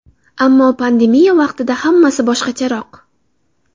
Ammo pandemiya vaqtida hammasi boshqacharoq.